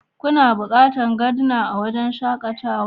Kuna buƙatar Gardner a wurin shakatawa?